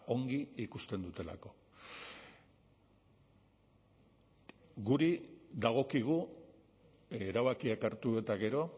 ongi ikusten dutelako guri dagokigu erabakiak hartu eta gero